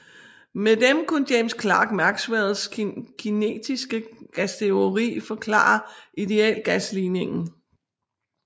Med dem kunne James Clerk Maxwells kinetiske gasteori forklare idealgasligningen